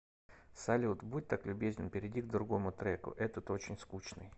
салют будь так любезен перейди к другому треку этот очень скучный